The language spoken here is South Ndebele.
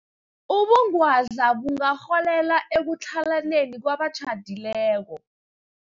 Ubungwadla bungarholela ekutlhalaneni kwabatjhadileko.